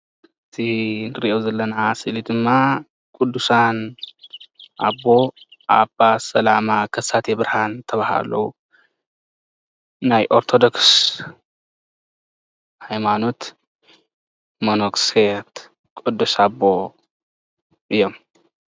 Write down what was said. እዚ እንሪኦ ዘለና ስእሊ ድማ ብጹእ ኣቦና ኣባ ሰላማ ከሳቴ ብርሃን ዝተባሃሉ ናይ ኦርቶዶክስ ሃይማኖት ቅዱስ ጳጳስ ኣቦ እዮም፡፡